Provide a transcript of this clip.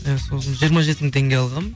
иә сосын жиырма жеті мың теңге алғанмын